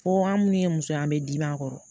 Fo an minnu ye muso an bɛ dibi a kɔrɔ